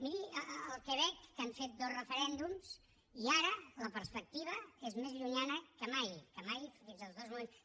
miri al quebec que han fet dos referèndums i ara la perspectiva és més llunyana que mai que mai fins als dos moments